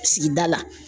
Sigida la